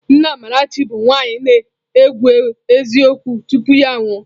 Nne Amarachi bụ nwaanyị na-ekwu eziokwu tupu ya anwụọ.